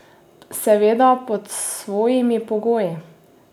Seveda pod svojimi pogoji!